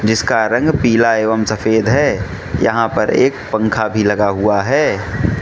इसका रंग पीला एवं सफेद है यहां पर एक पंखा भी लगा हुआ है।